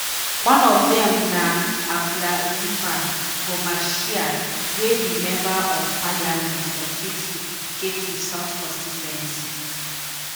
one of dem na abla dzifa gomashie wey be member of parliament for ketu ketu south constituency.